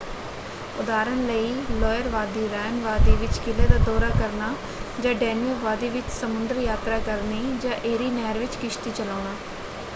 ਉਦਾਹਰਣ ਲਈ ਲੌਇਰ ਵਾਦੀ ਰ੍ਹਾਇਨ ਵਾਦੀ ਵਿੱਚ ਕਿਲ੍ਹੇ ਦਾ ਦੌਰਾ ਕਰਨਾ ਜਾਂ ਡੇਨਿਊਬ ਵਾਦੀ ਵਿੱਚ ਸਮੁੰਦਰ-ਯਾਤਰਾ ਕਰਨੀ ਜਾਂ ਏਰੀ ਨਹਿਰ ਵਿੱਚ ਕਿਸ਼ਤੀ ਚਲਾਉਣਾ।